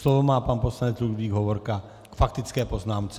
Slovo má pan poslanec Ludvík Hovorka k faktické poznámce.